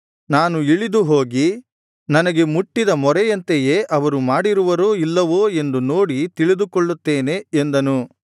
ನಾನು ಇಳಿದು ಹೋಗಿ ನನಗೆ ಮುಟ್ಟಿದ ಮೊರೆಯಂತೆಯೇ ಅವರು ಮಾಡಿರುವರೋ ಇಲ್ಲವೋ ಎಂದು ನೋಡಿ ತಿಳಿದುಕೊಳ್ಳುತ್ತೇನೆ ಎಂದನು